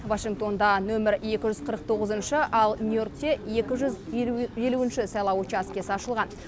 вашингтонда нөмір екі жүз қырық тоғызыншы ал нью йоркте екі жүз елуінші сайлау учаскесі ашылған